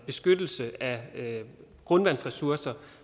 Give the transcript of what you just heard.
beskyttelse af grundvandsressourcer